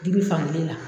Dibi fankelen na